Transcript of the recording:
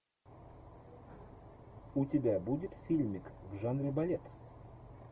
у тебя будет фильмик в жанре балет